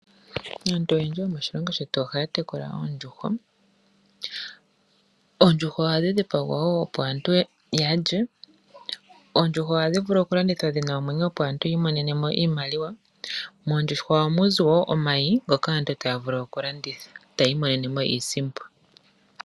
Aantu oyendji yomoshilongo shetu ohaya tekula oondjuhwa. Oondjuhwa ohadhi dhipagwa woo opo aatu yalye. Oondjuhwa ohadhi vulu landithwa dhina omwenyo opo aantu yiimonene mo iimaliwa. Moondjuhwa ohamuzi woo omayi ngoka aantu taya vulu okulanditha etaya imonene mo iisimpo.